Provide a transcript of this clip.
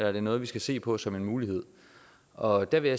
er det noget vi skal se på som en mulighed og jeg vil